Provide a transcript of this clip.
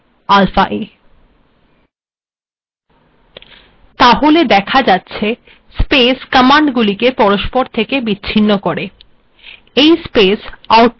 তাহলে দেখা যাচ্ছে স্পেস কমান্ডগুিলেক পরস্পর থেকে বিচ্ছিন্ন করে এই স্পেসগুলি আউটপুট্ ফাইলে দৃশ্যমান হয় না